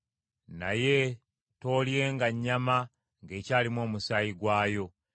“Naye toolyenga nnyama ng’ekyalimu omusaayi gwayo.